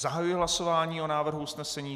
Zahajuji hlasování o návrhu usnesení.